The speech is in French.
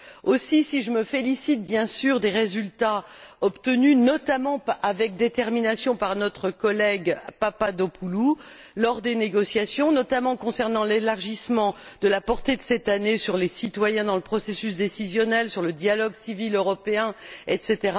Aussi, si je me félicite, bien sûr, des résultats obtenus, notamment, avec détermination, par notre collègue Papadopoulou, lors des négociations, en particulier concernant l'élargissement de la portée de cette année sur les citoyens, dans le processus décisionnel, sur le dialogue civil européen, etc.,